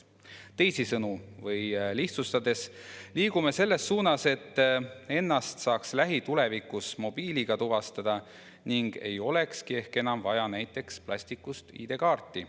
Teisisõnu või lihtsustatult öeldes liigume me selles suunas, et ennast saaks lähitulevikus mobiiliga tuvastada ning ei olekski ehk enam vaja näiteks plastist ID-kaarti.